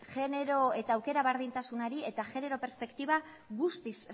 aukera berdintasunari eta genero perspektiba guztiz